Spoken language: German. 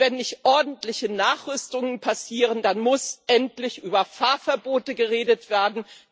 Und wenn nicht ordentliche Nachrüstungen passieren, dann muss endlich über Fahrverbote geredet werden.